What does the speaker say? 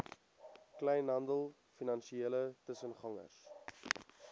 kleinhandel finansiële tussengangers